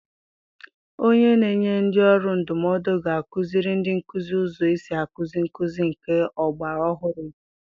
Onye na-enye ndị ọrụ ndụmọdụ ga-akụziri ndị nkuzi ụzọ esi akuzi nkụzi nke ọgbara ọhụrụ echi.